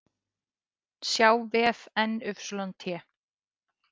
sjá vef NYT